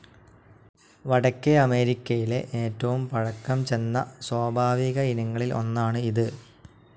വടക്കേ അമേരിക്കയിലെ ഏറ്റവും പഴക്കം ചെന്ന സ്വാഭാവിക ഇനങ്ങളിൽ ഒന്നാണ് ഇത്.